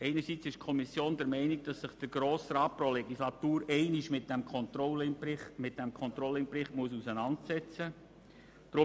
Einerseits ist die Kommission der Meinung, dass sich der Grosse Rat pro Legislatur einmal mit diesem Controlling-Bericht auseinandersetzen muss.